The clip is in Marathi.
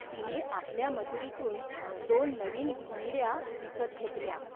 तिने आपल्या मजुरीतून दोन नवीन घोंगड्या विकत घेतल्या.